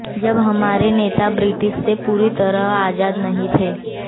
जब हमारे नेता ब्रिटिश से पूरी तरह आजाद नहीं थे